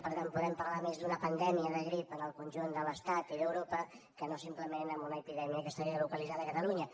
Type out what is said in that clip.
per tant podem parlar més d’una pandèmia de grip en el conjunt de l’estat i d’europa que no simplement d’una epidèmia que estaria localitzada a catalunya